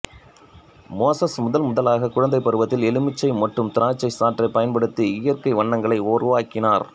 Moses முதன்முதலாக குழந்தைப் பருவத்தில் எலுமிச்சை மற்றும் திராட்சை சாற்றைப் பயன்படுத்தி இயற்கை வண்ணங்களை உருவாக்கினார்